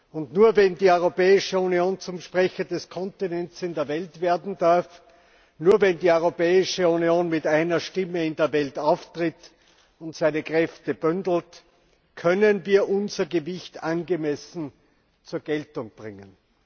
Und nur, wenn die Europäische Union zum Sprecher des Kontinents in der Welt werden darf, nur wenn die Europäische Union mit einer Stimme in der Welt auftritt und ihre Kräfte bündelt, können wir unser Gewicht angemessen zur Geltung bringen.